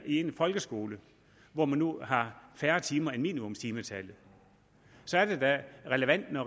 en folkeskole hvor man nu har færre timer end minimumstimetallet så er det da relevant når